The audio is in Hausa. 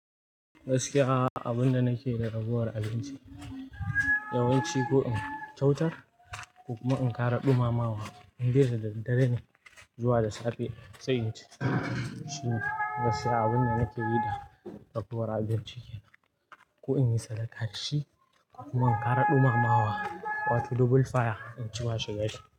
Gaskiya abunda nake da ragowar abinci, yawanci ko in kyautar ko kuma in kara ɗumamawa. In dai da daddare ne zuwa da safe, sai Gaskiya abunda nakeyi da ragowar abinci kenan, ko in yi sadaka da shi ko kuma in kara ɗumamawa, wato double fire inci mashaya shi.